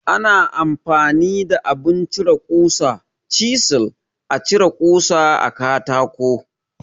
Ana amfani da abin cire ƙusa (Cizil) a cire kusa a katako.